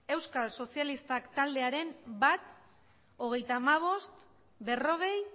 euskal sozialistak taldearen bat hogeita hamabost berrogei